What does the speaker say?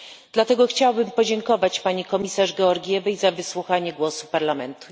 Dlatego chciałabym podziękować pani komisarz Georgievej za wysłuchanie głosu Parlamentu.